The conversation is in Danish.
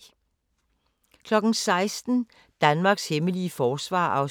16:00: Danmarks hemmelige forsvar (3:4) 16:40: